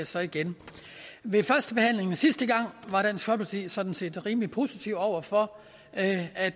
så igen ved førstebehandlingen sidste gang var dansk folkeparti sådan set rimelig positive over for at at